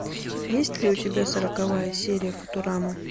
есть ли у тебя сороковая серия футурама